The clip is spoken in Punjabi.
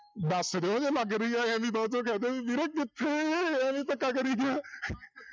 ਦੱਸ ਦਿਓ ਜੇ ਲੱਗ ਰਹੀ ਹੈ ਇਹ ਨੀ ਬਾਅਦ ਚੋਂ ਕਹਿ ਦਿਓ ਵੀ ਵੀਰੇ ਕਿੱਥੇ ਐਵੇਂ ਧੱਕਾ ਕਰੀ ਗਿਆਂ